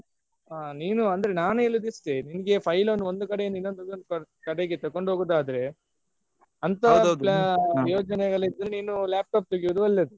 ಹ ನೀನು ಅಂದ್ರೆ ನಾನ್ ಹೇಳೋದ್ ಇಷ್ಟೇ ನಿಂಗೆ file ಅನ್ನು ಒಂದ್ ಕಡೆ ಇಂದ ಇನ್ನೊಂದ್ ಕಡೆಗೆ ತಗೊಂಡ್ ಹೋಗೂದಾದ್ರೆ ಅಂತ ಯೋಜನೆಗಳ್ ಇದ್ರೆ ನಿನ್ laptop ತೆಗಿಯುದ್ ಒಳ್ಳೇದು.